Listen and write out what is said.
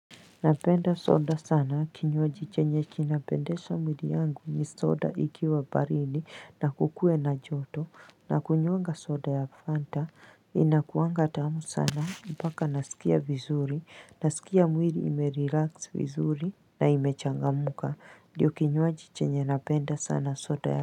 Napenda soda sana kinyoaji chenye kinapendesha mwili yangu ni soda ikiwa baridi na kukue na joto nakunyuanga soda ya Fanta inakuanga tamu sana mpaka nasikia vizuri nasikia mwili ime relax vizuri na imechanga muka ndiyo kinyoaji chenye napenda sana soda ya Fanta.